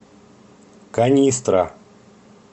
канистра